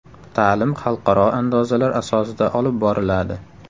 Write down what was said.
Ta’lim xalqaro andozalar asosida olib boriladi.